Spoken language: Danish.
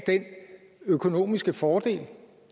den økonomiske fordel